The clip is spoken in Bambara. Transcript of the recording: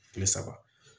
Kile saba